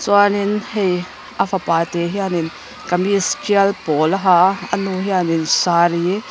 chuanin hei a fapa te hian kamis ṭil pawl a ha a a nu hian sari --